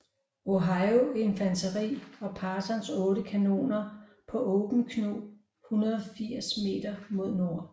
Ohio infanteri og Parsons otte kanoner på Open Knob 180 meter mod nord